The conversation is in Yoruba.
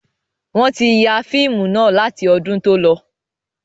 Wọn tí ya fíìmù náà láti ọdún tó lọ.